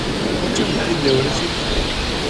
Hočem biti del rešitve.